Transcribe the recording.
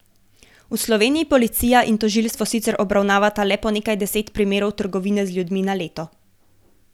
V Sloveniji policija in tožilstvo sicer obravnavata le po nekaj deset primerov trgovine z ljudmi na leto.